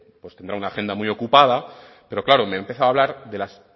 pues tendrá una agenda muy ocupada pero claro me ha empezado a hablar de las